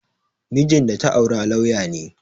Mijin da ta aura lauya ne